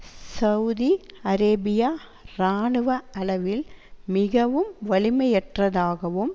Saudi Arabia இராணுவ அளவில் மிகவும் வலிமையற்றதாகவும்